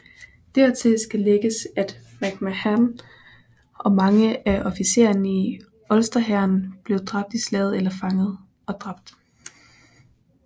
Dertil skal lægges at MacMahon og mange af officererne i Ulsterhæren blev dræbt i slaget eller fanget og dræbt